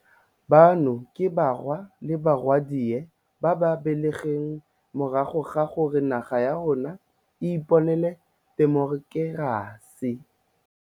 Bano ke barwa le barwadi ba ba belegweng morago ga gore naga ya rona e iponele temokerasi.